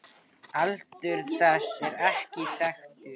Aldur þess er ekki þekktur.